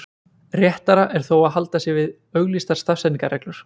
Réttara er þó að halda sig við auglýstar stafsetningarreglur.